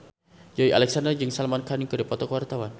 Joey Alexander jeung Salman Khan keur dipoto ku wartawan